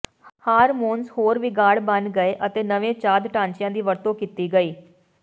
hormones ਹੋਰ ਵਿਗਾੜ ਬਣ ਗਏ ਅਤੇ ਨਵੇਂ ਚਾਦ ਢਾਂਚਿਆਂ ਦੀ ਵਰਤੋਂ ਕੀਤੀ ਗਈ